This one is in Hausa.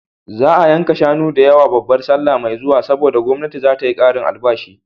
Za a yanka shanu da yawa babar sallah mai zuwa, saboda gwamnati za ta yi ƙarin albashi.